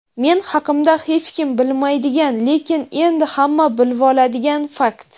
Men haqimda hechkim bilmaydigan lekin endi hamma bilvoladigan fakt:.